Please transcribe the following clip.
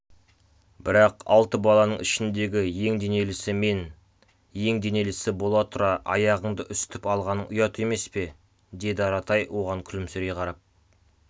бірақ алты баланың ішіндегі ең денелісі мен ең денелісі бола тұра аяғыңды үсітіп алғаның ұят емес пе деді аратай оған күлімсірей қарап